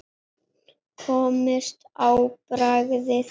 Komist á bragðið